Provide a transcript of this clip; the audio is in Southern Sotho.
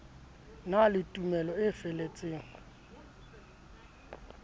na le tumelo e feletseng